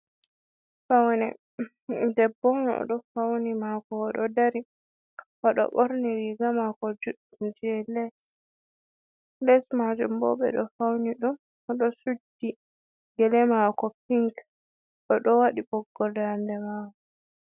Faune, Debbo'onni oɗo Fauni mako oɗo Dari. oɗo Ɓorni riga mako judɗum je les. Les majum bo ɓe ɗo Fauni ɗum, oɗo Suddi Gele mako Pink oɗo wadi Ɓoggol daande Mako.